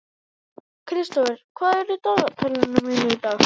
Kristófer, hvað er í dagatalinu mínu í dag?